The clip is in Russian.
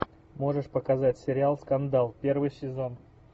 можешь показать сериал скандал первый сезон